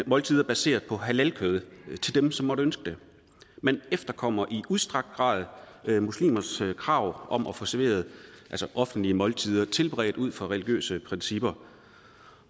måltider baseret på halalkød til dem som man måtte ønske det man efterkommer i udstrakt grad muslimers krav om at få serveret offentlige måltider tilberedt ud fra religiøse principper